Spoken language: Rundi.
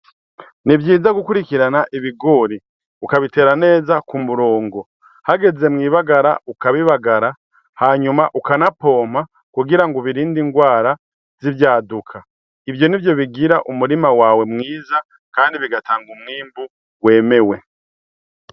Ni vyiza gukurikirana ibigori, ukabitera neza ku murongo, hageze mw'ibagara ukabibagara, hanyuma ukanapompa kugira ngo ubirinde ingwara zivyaduka, ivyo nivyo bigira umurima wawe mwiza, kandi bigatanga umwimbu wemewe.